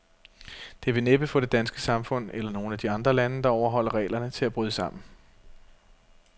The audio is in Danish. Det vil næppe få det danske samfund, eller nogen af de andre lande, der overholder reglerne, til at bryde sammen.